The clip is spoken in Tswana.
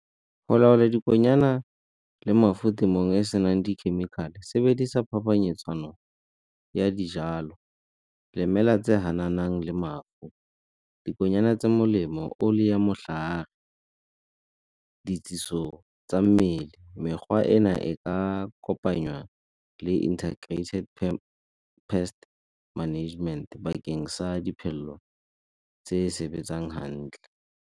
Go laola dikonyana le mengwe e e senang dikhemikhale sebedisa phapanyetsano ya dijalo, lemela tse di hananang le . Dikonyana tse di molemo tsa mmele mekgwa ena e ka kopanywa le integrated pest management bakeng sa diphello tse sebetsang hantle.